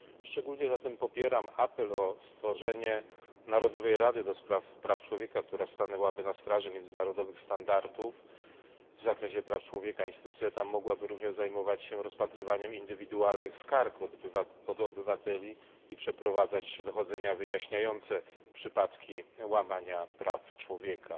Szczególnie zatem popieram apel o stworzenie narodowej rady do spraw praw człowieka, która stanęłaby na straży międzynarodowych standardów w zakresie praw człowieka. Instytucja ta mogłaby również zajmować się rozpatrywaniem indywidualnych skarg od obywateli i przeprowadzać dochodzenia wyjaśniające przypadki łamania praw człowieka.